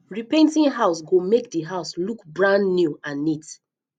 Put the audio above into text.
repainting house go make the house look brand new and neat